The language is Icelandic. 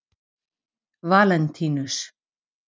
Valentínus